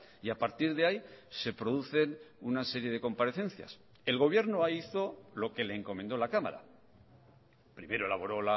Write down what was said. y a partir de ahí se producen una serie de comparecencias el gobierno hizo lo que le encomendó la cámara primero elaboró